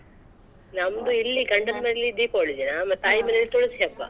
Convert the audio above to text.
ನಮ್ದಿಲ್ಲಿ ಗಂಡನ್ ಮನೆಯಲ್ಲಿ Deepavali ತಾಯಿ ಮನೇಲಿ ತುಳ್ಸಿ ಹಬ್ಬ.